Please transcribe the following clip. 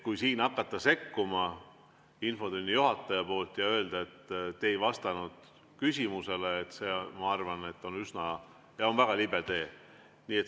Kui siin infotunni juhataja hakkab sekkuma ja ütleb, et te ei vastanud küsimusele, siis see, ma arvan, on väga libe tee.